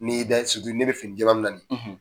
N'i y'i da ne bɛ fini jɛɛman min na nin ye.